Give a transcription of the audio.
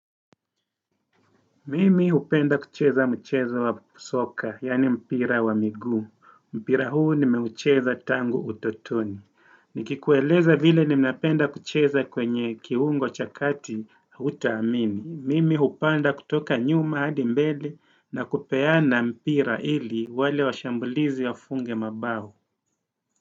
Mimi hupenda kucheza mchezo wa soka, yaani mpira wa migu. Mpira huu nimeucheza tangu utotoni. Nikikueleza vile ninapenda kucheza kwenye kiungo cha kati, hutaamini. Mimi hupanda kutoka nyuma hadi mbele na kupeana mpira ili wale washambulizi wa funge mabao.